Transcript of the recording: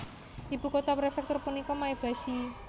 Ibu kota prefektur punika Maebashi